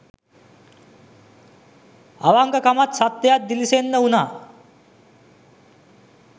අවංකකමත් සත්‍යයත් දිළිසෙන්න වුනා